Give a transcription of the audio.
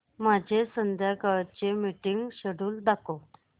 माझे संध्याकाळ चे मीटिंग श्येड्यूल दाखव